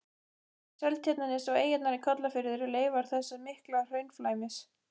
Seltjarnarnes og eyjarnar í Kollafirði eru leifar þessa mikla hraunflæmis.